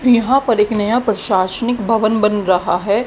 और यहां पर एक नया प्रशासनिक भवन बना रहा है।